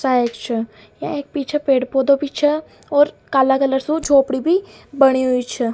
सायद छ यहाँ एक पीछे पेड़ पौधो भी छे और काला कलर का झोपड़ी भी बनी हुई छे।